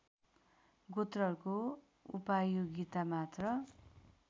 गोत्रहरूको उपायोगिता मात्र